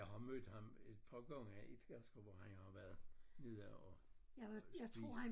Jeg har mødt ham et par gange i Pedersker hvor han har været nede og og spise